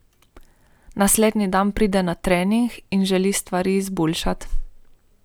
Naslednji dan pride na trening in želi stvari izboljšati.